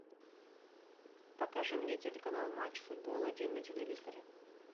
покажи мне телеканал матч футбол один на телевизоре